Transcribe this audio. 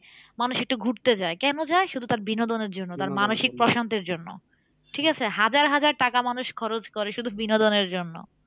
মানুষ একটু ঘুরতে যাই কেন যাই? শুধু তার বিনোদনের জন্য তার মানসিক প্রশান্তির জন্য ঠিক আছে? হাজার হাজার টাকা মানুষ খরচ করে শুধু বিনোদনের জন্য